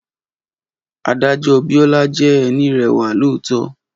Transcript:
Adájọ́ Biola jẹ́ ẹni rẹwà lọọtọ